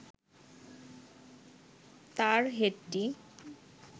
তার হেডটি